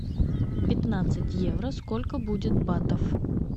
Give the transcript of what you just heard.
пятнадцать евро сколько будет батов